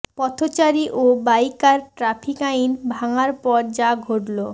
পথচারী ও biker traffic আইন ভাঙার পর যা ঘটলো